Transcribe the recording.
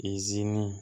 Izini